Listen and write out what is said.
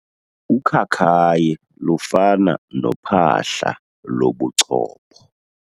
Ukhakayi lufana nophahla lobuchopho.